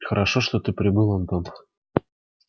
хорошо что ты прибыл антон